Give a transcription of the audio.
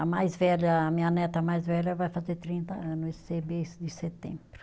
A mais velha, a minha neta mais velha vai fazer trinta ano esse mês de setembro.